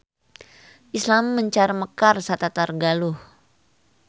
Islam mencar mekar satatar Galuh.